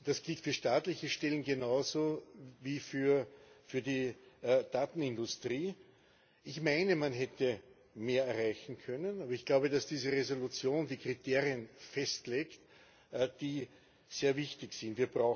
Das gilt für staatliche Stellen genauso wie für die Daten industrie. Ich meine, man hätte mehr erreichen können, aber ich glaube, dass diese Entschließung die Kriterien festlegt, die sehr wichtig sind.